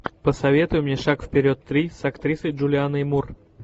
посоветуй мне шаг вперед три с актрисой джулианой мур